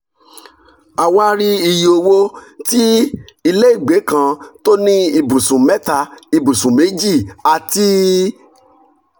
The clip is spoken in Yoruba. a wá rí iye owó tí ilé ìgbẹ́ kan tó ní ibùsùn mẹ́ta ibùsùn méjì àti